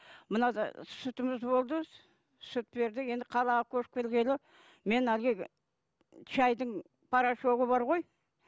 мынада сүтіміз болды сүт бердік енді қалаға көшіп келгелі мен әлгі шайдың порошогы бар ғой